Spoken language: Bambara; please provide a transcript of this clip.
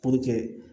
Puruke